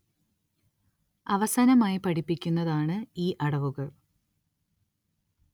അവസാനമായി പഠിപ്പിക്കുന്നതാണ് ഈ അടവുകൾ